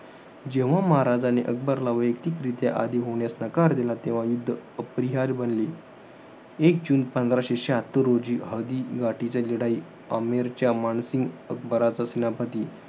जेव्हा महाराजाने, अकबरला वैयक्तिकरित्या आदी होण्यास नकार दिला. तेव्हा युध्द अपरिहार्य बनले. एक जून पंधराशे शहात्तर रोजी, हदी घटीचे लढाई अमेरच्या मानसिंग अकबराचा सेनापती,